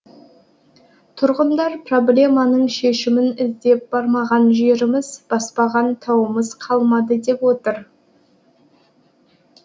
тұрғындар проблеманың шешімін іздеп бармаған жеріміз баспаған тауымыз қалмады деп отыр